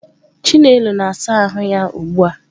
Chinelo na-asa ahụ ya ugbu a.